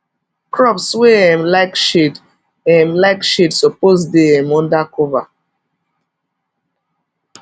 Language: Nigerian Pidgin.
crops wey um like shade um like shade suppose dey um under cover